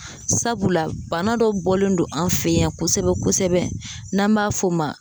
Sabula bana dɔ bɔlen don an fe yan kosɛbɛ kosɛbɛ n'an b'a f'o ma